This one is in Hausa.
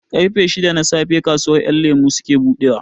Ƙarfe shida na safe kasuwar ƴan lemo suke buɗewa